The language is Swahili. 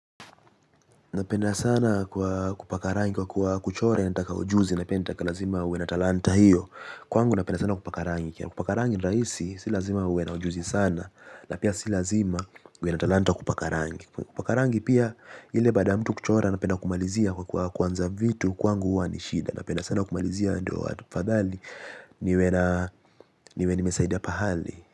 Napenda sana kwa kupaka rangi kwa kuwa kuchora inataka ujuzi na pia inataka lazima uwe na talanta hiyo. Kwangu napenda sana kupaka rangi kupaka rangi ni rahisi si lazima uwe na ujuzi sana. Na pia si lazima uwe na talanta kupaka rangi. Kupaka rangi pia ile baada ya mtu kuchora napenda kumalizia kwa kuwa kuanza vitu kwangu huwa ni shida. Napenda sana kumalizia ndio afadhali niwe nimesaidia pahali.